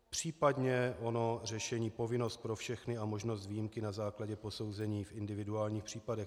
Případně ono řešení povinnost pro všechny a možnost výjimky na základě posouzení v individuálních případech.